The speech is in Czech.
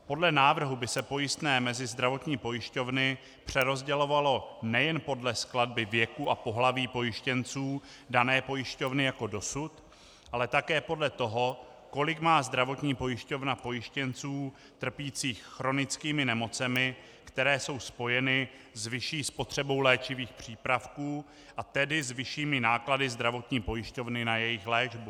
Podle návrhu by se pojistné mezi zdravotní pojišťovny přerozdělovalo nejen podle skladby věku a pohlaví pojištěnců dané pojišťovny jako dosud, ale také podle toho, kolik má zdravotní pojišťovna pojištěnců trpících chronickými nemocemi, které jsou spojeny s vyšší spotřebou léčivých přípravků, a tedy s vyššími náklady zdravotní pojišťovny na jejich léčbu.